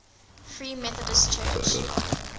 free methodist church